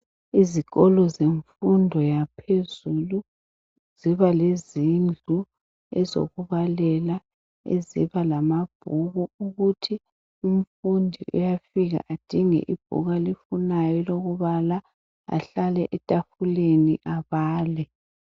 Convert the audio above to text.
Izikolo zemfundo yaphezulu njalo lezindlu ezokubalela eziba lamabhuku ukuthi umfundi uyafika edinge ibhuku alifunayo elokubala ahlale etafuleni abale